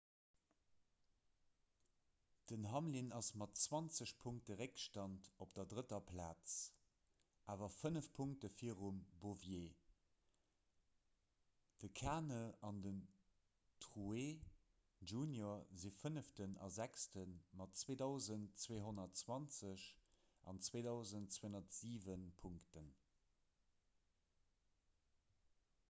den hamlin ass mat zwanzeg punkte réckstand op der drëtter plaz awer fënnef punkte virum bowyer de kahne an den truex jr si fënneften a sechste mat 2 220 an 2 207 punkten